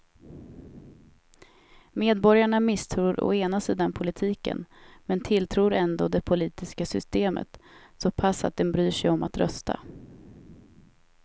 Medborgarna misstror å ena sidan politiken men tilltror ändå det politiska systemet så pass att de bryr sig om att rösta.